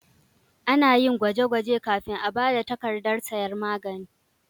Ana yin gwaje-gwaje kafin a ba da takardar sayan magani.